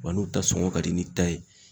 Wa n'u ta sɔngɔ ka di ni ta ye